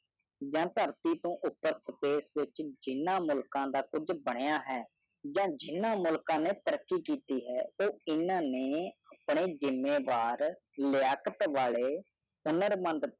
ਜਾ ਧਰਤੀ ਤੋਂ ਉਪਰ ਪ੍ਰਦੇਸ਼ ਵਿਚ ਜਿਨ੍ਹਾਂ ਮੁਲਕਾ ਦਾ ਕੁਛ ਬਣਿਆ ਹੈ ਜਾ ਜਿਨ੍ਹਾਂ ਮੁਲਕਾ ਨੇ ਤਰੱਕੀ ਕੀਤੀ ਹੈ ਉਹ ਜਿਨ੍ਹਾਂ ਨੇ ਆਪਣੇ ਜਿਮੇਵਾਰ ਹੁਨਰ ਮੰਦ